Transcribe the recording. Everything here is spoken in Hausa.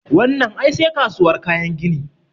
Wannan ai sai kasuwar kayan aikin gini